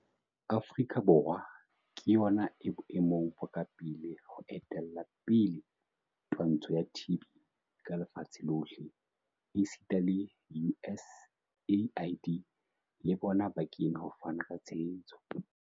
Afrika Borwa ke yona e boemong bo ka pele ho etella pele twantsho ya TB ka lefatsheng lohle, esita le USAID le bona bo kene ho fana ka tshehetso.